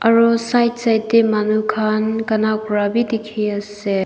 aru side side teh manu khan gana kora be dikhi ase.